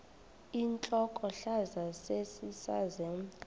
intlokohlaza sesisaz omny